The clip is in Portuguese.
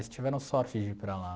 Eles tiveram sorte de ir para lá.